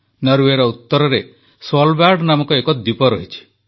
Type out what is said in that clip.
ନରୱେର ଉତରରେ ସ୍ୱାଲବାର୍ଡ ନାମକ ଏକ ଦ୍ୱୀପ ଅଛି